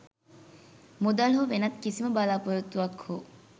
මුදල් හෝ වෙනත් කිසිම බලාපොරොත්තුවක් හෝ